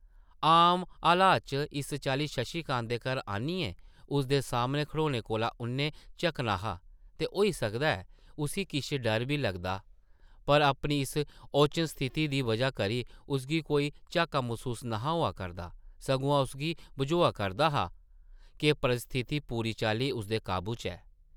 आम हालत च इस चाल्ली शशि कांत दे घर आनियै उसदे सामनै खड़ोने कोला उʼन्नै झक्कना हा ते होई सकदा ऐ उस्सी किश डर बी लगदा पर अपनी इस ओचन स्थिति दी बजह करी उसगी कोई झाका मसूस न’हा होआ करदा सगुआं उसगी बझोआ करदा हा’क परिस्थिति पूरी चाल्ली उसदे काबू च ऐ ।